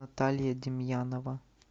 наталья демьянова